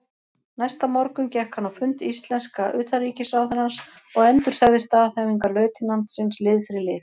Næsta morgun gekk hann á fund íslenska utanríkisráðherrans og endursagði staðhæfingar lautinantsins lið fyrir lið.